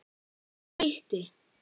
Ég hitti